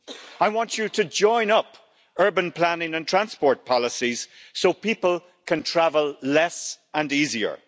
I want you to join up urban planning and transport policies so people can travel less and easier.